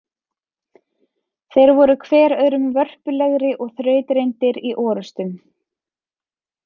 Þeir voru hver öðrum vörpulegri og þrautreyndir í orustum.